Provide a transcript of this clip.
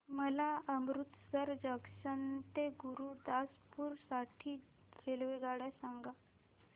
मला अमृतसर जंक्शन ते गुरुदासपुर साठी रेल्वेगाड्या सांगा